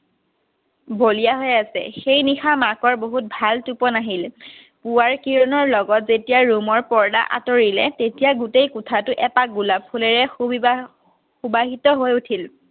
বলিয়া হৈ আছে। সেই নিশা মাকৰ বহুত ভাল টোপনি আহিল, পুৱাৰ কিৰণৰ লগত যেতিয়া ৰুমৰ পৰ্দা আঁতৰিলে তেতিয়া গোটেই কোঠাতো এপাহ গোলাপ ফুলেৰে সুবিভা~সুবাহিত হৈ উঠিল